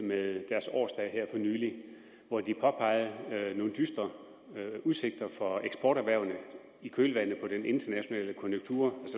med deres årsdag her for nylig hvor de påpegede nogle dystre udsigter for eksporterhvervene i kølvandet på den internationale